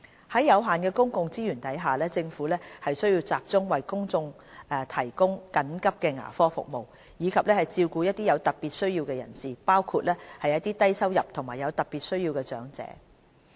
在有限的公共資源下，政府需要集中為公眾提供緊急牙科服務，以及照顧一些有特別需要的人士，包括低收入及有特別需要的長者。